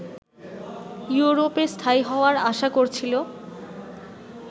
ইউরোপে স্থায়ী হওয়ার আশা করছিল